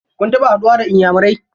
Kun taɓa haɗuwa da iyamurai?